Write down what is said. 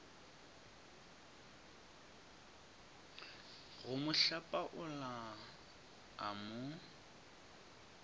go mo hlapaola a mo